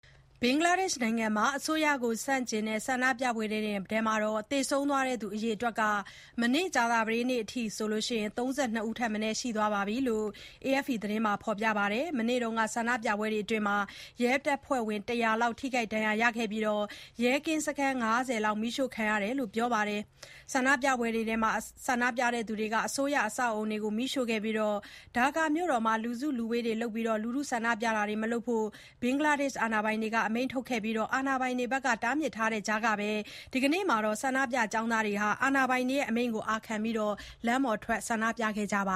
ဘင်္ဂလားဒေ့ရှ်နိုင်ငံမှာ အစိုးရကို ဆန့်ကျင်တဲ့ ဆန္ဒပြပွဲတွေအတွင်း သေဆုံးတဲ့သူ အရေအတွက်ဟာ မနေ့ကြာသပတေးနေ့ကအထိ ၃၂ ယောက် ထက်မနည်းရှိသွားပြီဖြစ်တယ်လို့ AFP သတင်းဌာနက ပြောပါတယ်။ မနေ့က ဆန္ဒပြပွဲတွေအတွင်း ရဲတပ်ဖွဲ့ဝင် ၁၀၀ လောက် ထိခိုက်ဒဏ်ရာရခဲ့ပြီး ၊ ရဲကင်းစခန်း ၅၀ လောက်လည်း မီးရှို့ခံခဲ့ရတယ်လို့ ပြောပါတယ်။ မနေ့က ဆန္ဒပြပွဲတွေအတွင်း ဆန္ဒပြတဲ့သူတွေက အစိုးရ အဆောက်အအုံတွေကို မီးရှို့ခဲ့ကြပြီး၊ ဒါကာမြို့တော်မှာ လူစုလူဝေးတွေလုပ်ပြီး လူထုဆန္ဒပြတာတွေမလုပ်ဖို့ ဘင်္ဂလားဒေ့ရှ်အာဏာပိုင်တွေက အမိန့်ထုတ်ခဲ့ပါတယ်။ ဒါပေမဲ့လည်း အာဏာပိုင်တွေဘက်က အဲဒီလို တားမြစ်ထားတဲ့ကြားမှာပဲ ဒီနေ့မှာ ဆန္ဒပြတဲ့ကျောင်းသားတွေဟာ အာဏာပိုင်တွေရဲ့ အမိန့်ကို အာခံပြီး လမ်းပေါ်ထွက်ဆန္ဒပြခဲ့ကြပ